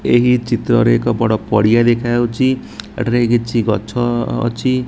ଏହି ଚିତ୍ର ରେ ଏକ ବଡ଼ ପଡିଆ ଦେଖାଯାଉଚି। ଏଟାରେ କିଛି ଗଛ ଅଛି।